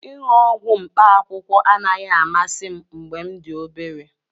Ịṅụ ọgwụ mkpaakwụkwọ anaghị amasị m mgbe m dị obere